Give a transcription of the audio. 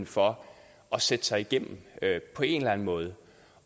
for at sætte sig igennem på en eller anden måde